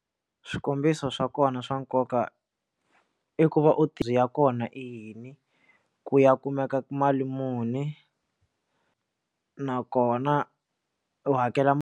Swikombiso swa kona swa nkoka i ku va u tirhisa kona i yini ku ya kumeka mali muni nakona u hakela.